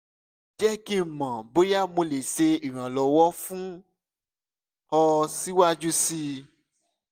jẹ ki n mọ boya mo le ṣe iranlọwọ fun ọ siwaju sii